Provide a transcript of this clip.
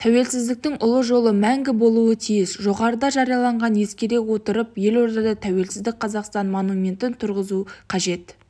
тәуелсіздіктің ұлы жолы мәңгі болуы тиіс жоғарыда жарияланғандарды ескере отырып елордада тәуелсіз қазақстан монументін тұрғызу қажет